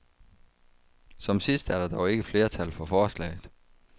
Som sidst er der dog ikke flertal for forslaget.